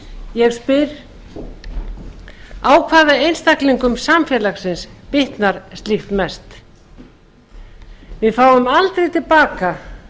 ég spyr á hvaða einstaklingum samfélagsins bitnar slíkt mest við fáum aldrei til baka